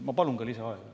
Ma palun ka lisaaega.